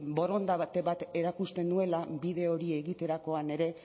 borondate bat erakusten nuela bide hori egiterakoan ere